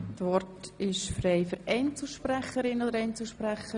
Das Wort ist frei für Einzelsprecher oder sprecherinnen.